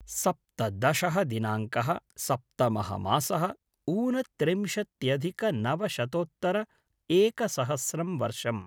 सप्तदशः दिनाङ्कः सप्तमः मासः ऊनत्रिंशत्यधिक नवशतोत्तर एकसहस्रं वर्षम्